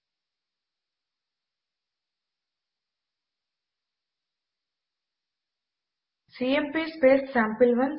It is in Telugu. ఇప్పుడు ఈ రెండు ఫైల్స్ పైన సీఎంపీ కమాండ్ ను అప్లై చేస్తాము